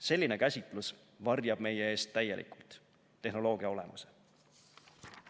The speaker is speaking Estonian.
Selline käsitlus varjab meie eest täielikult tehnoloogia olemuse.